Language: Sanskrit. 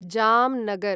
जामनगर्